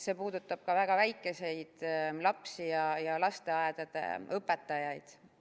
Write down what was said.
See puudutab ka väga väikeseid lapsi ja lasteaedade õpetajaid.